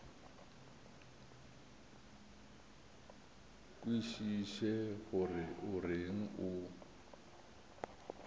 kwešiše gore o reng o